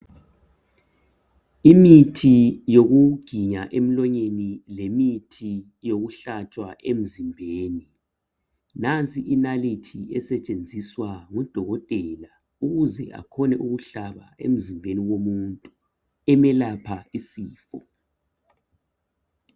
Imithi yokuginya emlonyeni lemithi yokuhlatshwa emzimbeni. Nansi inalithi esetshenziswa ngudokotela ukuze akhone ukuhlaba emzimbeni womuntu emelapha isifo.